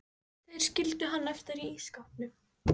Þeir skildu hann eftir í ísskápnum.